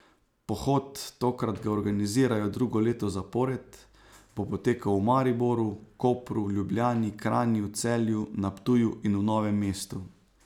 Pohod, tokrat ga organizirajo drugo leto zapored, bo potekal v Mariboru, Kopru, Ljubljani, Kranju, Celju, na Ptuju in v Novemu mestu.